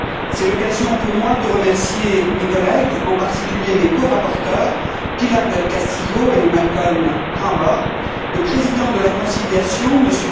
C'est l'occasion, pour moi, de remercier mes collègues, en particulier mes corapporteurs, Pilar del Castillo et Malcolm Harbour, le président de la conciliation, M.